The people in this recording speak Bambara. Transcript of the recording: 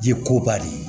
Ji ko ba de ye